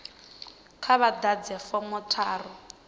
kha vha ḓadze fomo tharu